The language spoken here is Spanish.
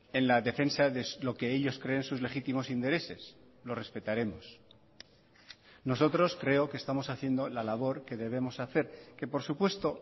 en la defensa de lo que ellos creen sus legítimos intereses lo respetaremos nosotros creo que estamos haciendo la labor que debemos hacer que por supuesto